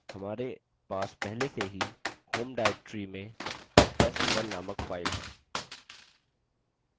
हमारे पास पहले से ही/home/anirban/arc/में test1 named file है